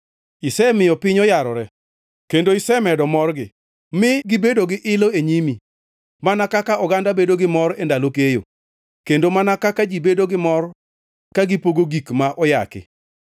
Isemiyo piny oyarore kendo isemedo morgi, mi gibedo gi ilo e nyimi mana kaka oganda bedo gi mor e ndalo keyo, kendo mana kaka ji bedo gi mor ka gipogo gik ma oyaki.